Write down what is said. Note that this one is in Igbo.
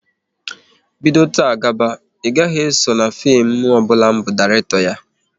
Bido taa gaba, ị gaghị eso na fim ọbụla m bu Dairekto ya!